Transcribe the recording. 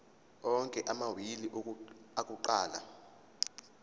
onke amawili akuqala